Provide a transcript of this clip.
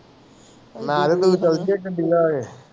ਮੈਂ ਵੀ